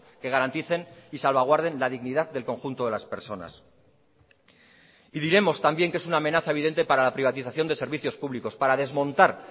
que garanticen y salvaguarden la dignidad del conjunto de las personas y diremos también que es una amenaza evidente para la privatización de servicios públicos para desmontar